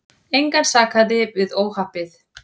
Engan sakaði við óhappið.